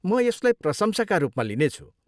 म यसलाई प्रशंसाका रूपमा लिनेछु।